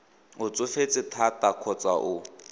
o tsofetse thata kgotsa o